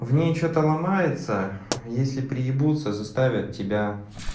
в ней что-то ломается если приебуться заставят тебя